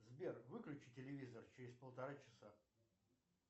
сбер выключи телевизор через полтора часа